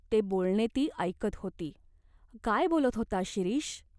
ते बोलणे ती ऐकत होती. काय बोलत होता शिरीष ?